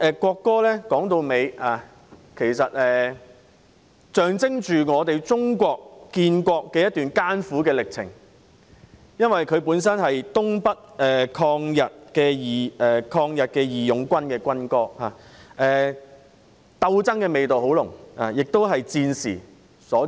國歌象徵中國建國的一段艱苦歷程，本身是東北抗日義勇軍的軍歌，鬥爭味道很濃，亦是在戰時所作。